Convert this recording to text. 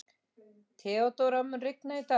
Theodóra, mun rigna í dag?